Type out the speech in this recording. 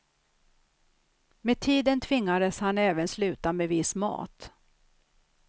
Med tiden tvingades han även sluta med viss mat.